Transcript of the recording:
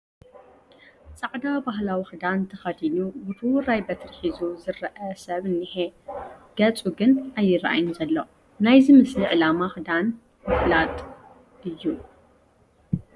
ፃዕዳ ባህላዊ ክዳን ተኸዲኑ ውርውራይ በትሪ ሒዙ ዝርአ ሰብ እኒሀ፡፡ ገፁ ግን ኣይርአን ዘሎ፡፡ ናይዚ ምስሊ ዕላማ ክዳን ምፍላጥ እዩ፡፡